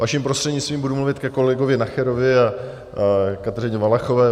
Vaším prostřednictvím budu mluvit ke kolegovi Nacherovi a Kateřině Valachové.